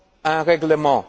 un règlement.